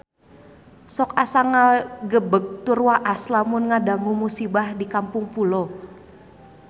Sok asa ngagebeg tur waas lamun ngadangu musibah di Kampung Pulo